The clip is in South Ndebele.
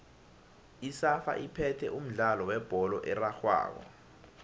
isafa iphethe umdlalo webholo erarhwako